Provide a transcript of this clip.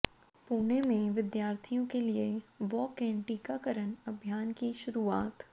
पुणे में विद्यार्थियों के लिए वॉक इन टीकाकरण अभियान की शुरुआत